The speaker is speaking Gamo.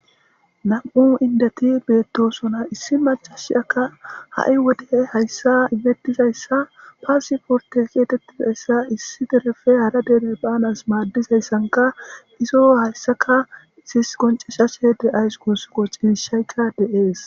Nam7u inddethi beeththoosona; issi maccasiyaakka ha7i wode hayssaa imeththizayssa passporththe geetheththizayssa issi dereppe hara dere baanas maaddizaysankka izo hayssaka qonccisseykka de7ees.